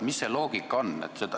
Mis see loogika on?